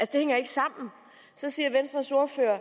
det hænger ikke sammen så siger venstres ordfører at